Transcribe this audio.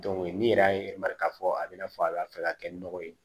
ni yɛrɛ y'a yir'a la k'a fɔ a bɛ n'a fɔ a b'a fɛ ka kɛ nɔgɔ ye